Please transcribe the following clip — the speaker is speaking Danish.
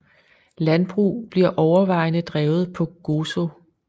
Landbrug bliver overvejende drevet på Gozo